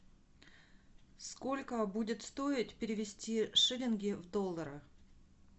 сколько будет стоить перевести шиллинги в доллары